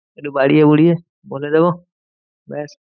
একটু বাড়িয়ে বুড়িয়ে বলে দেব ব্যাস।